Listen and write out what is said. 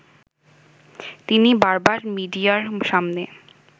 তিনি বারবার মিডিয়ার সামনে